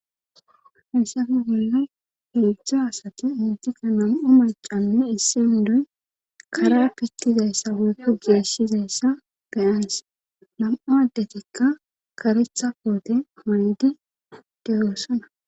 hissafe wolla hegizo asati itika nam7u macanne issi hindoy kara pittizayssa walku geeshizayssa beyans nam7u addetikka karetha poote manedi deyoossana